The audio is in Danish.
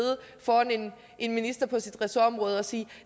foran en minister på sit ressortområde og sige